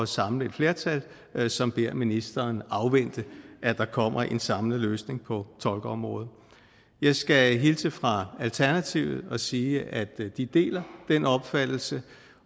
samle et flertal som beder ministeren afvente at der kommer en samlet løsning på tolkeområdet jeg skal hilse fra alternativet og sige at de deler den opfattelse